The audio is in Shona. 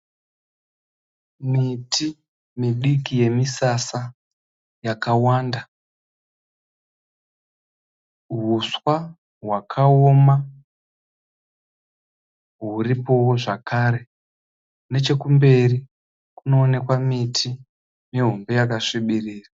Miti midiki yemisasa yakawanda. Uswa hwakaoma huripowo zvekare. Nechekumberi kunooneka miti mihombe yakasvibirira.